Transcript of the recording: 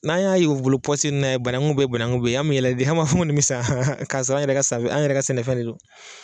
N'an y'a ye u bolo pɔsi ninnu na ye banangun bɛ ye banagun bɛ ye an mɛ yɛlɛ de an m'a fɔ nin mɛ san ka sɔrɔ an yɛrɛ ka san an yɛrɛ ka sɛnɛfɛn de do.